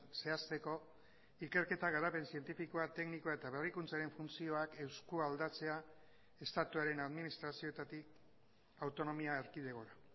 zehazteko ikerketa garapen zientifikoa teknikoa eta berrikuntzaren funtzioak eskualdatzea estatuaren administrazioetatik autonomia erkidegora